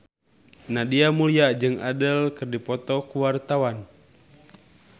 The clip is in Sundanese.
Nadia Mulya jeung Adele keur dipoto ku wartawan